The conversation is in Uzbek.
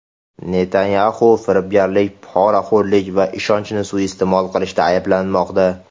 Netanyaxu firibgarlik, poraxo‘rlik va ishonchni suiiste’mol qilishda ayblanmoqda.